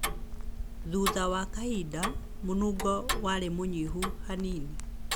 Thutha wa kahinda, mũnungo warĩ mũnyihu hanini.